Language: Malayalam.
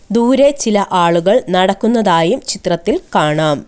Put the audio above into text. ദൂരെ ചില ആളുകൾ നടക്കുന്നതായും ചിത്രത്തിൽ കാണാം.